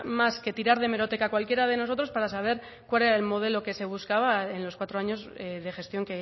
más que tirar de hemeroteca cualquiera de nosotros para saber cuál era el modelo que se buscaba en los cuatro años de gestión